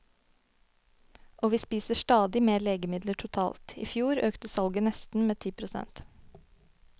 Og vi spiser stadig mer legemidler totalt; i fjor økte salget med nesten ti prosent.